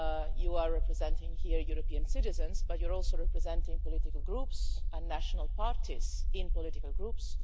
You are representing here European citizens, but you're also representing political groups and national parties in political groups.